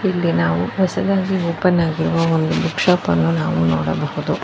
ಇಲ್ಲಿ ನಾವು ಹೊಸದಾಗಿ ಓಪನ್ ಆಗಿರುವ ಒಂದು ಬುಕ ಶಾಪ್ ಅನ್ನು ನಾವು ನೋಡಬಹುದು.